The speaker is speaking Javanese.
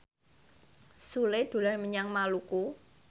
Sule dolan menyang Maluku